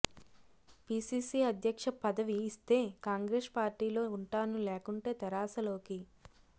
PCC అధ్యక్ష పదవి ఇస్తే కాంగ్రెస్ పార్టీలో ఉంటాను లేకుంటే తెరాసలోకి